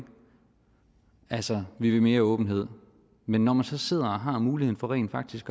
altså vi vil mere åbenhed men når man så sidder og har muligheden for rent faktisk